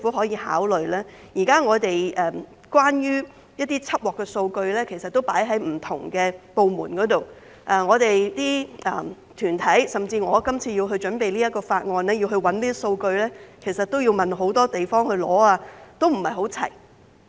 現時關於緝獲的數據存放於不同的部門內，當團體、甚至我今次為準備這項法案而尋找這些數據時，便要向多處索取，並不是一應俱全。